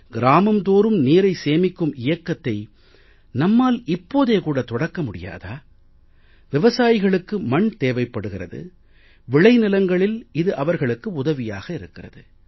கிராமம் தோறும் நீரை சேமிக்கும் இயக்கத்தை நம்மால் இப்போதே கூட தொடக்க முடியாதா விவசாயிகளுக்கு மண் தேவைப்படுகிறது விளை நிலங்களில் இது அவர்களுக்கு உதவியாக இருக்கிறது